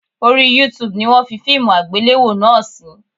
Orí YouTube ni wọ́n fi fíìmù àgbéléwò náà sí